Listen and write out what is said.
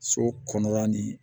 So kɔnɔla nin